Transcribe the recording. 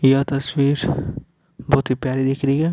यह तस्वीर बहुत ही प्यारी दिख रही है।